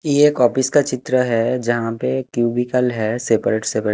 ये कॉपीज का चित्र है जहाँ पे क्यूबिकल है सेपरेट सेपरेट --